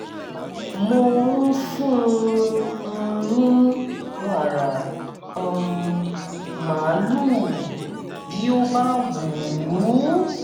mo ń fún un ní wàrà um màlúù bí ó bá wù ú